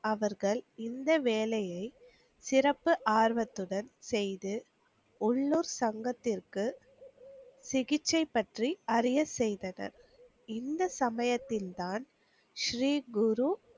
அவர்கள் இந்த வேலையை சிறப்பு ஆர்வத்துடன் செய்து உள்ளூர் சங்கத்திற்கு சிகிச்சை பற்றி அறிய செய்தனர். இந்த சமயத்தில் தான் ஸ்ரீ குரு